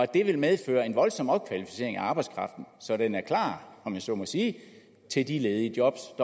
det vil medføre en voldsom opkvalificering af arbejdskraften så den er klar om jeg så må sige til de ledige jobs